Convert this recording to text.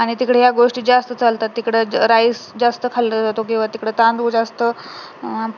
आणि तिकडे या गोष्टी जास्त चालतात तिकडे rice जास्त खाल्ल्या जातो किंवा तिकडे तांदूळ जास्त अं